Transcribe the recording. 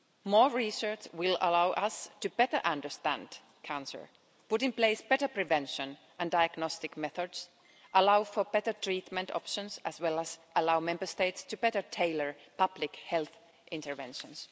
More research will allow us to better understand cancer, put in place better prevention and diagnostic methods, and allow for better treatment options, as well as allowing Member States to better tailor public health interventions.